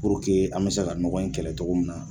Puruke an bɛ se ka nɔgɔ in kɛlɛ cogo min na.